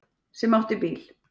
Sem átti bíl.